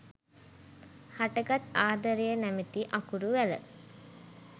හටගත් ආදරය නැමැති අකුරු වැල